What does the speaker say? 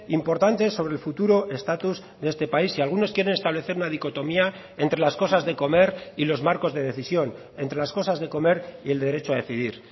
importante sobre el futuro estatus de este país y algunos quieren establecer una dicotomía entre las cosas de comer y los marcos de decisión entre las cosas de comer y el derecho a decidir